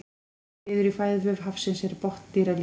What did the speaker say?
einn liður í fæðuvef hafsins er botndýralífið